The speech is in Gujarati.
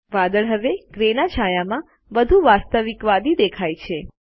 વાદળ હવે ગ્રે ના છાયામાં વધુ વાસ્તવિકવાદી છે